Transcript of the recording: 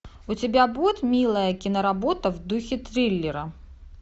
у тебя будет милая киноработа в духе триллера